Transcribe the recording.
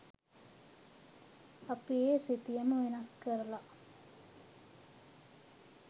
අපි ඒ සිතියම වෙනස් කරලා